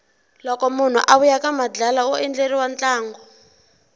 loko munhu a vuya ka madlala undleriwa ntlango